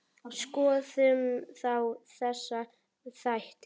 Skoðum þá þessa þætti.